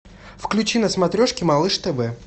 включи на смотрешке малыш тв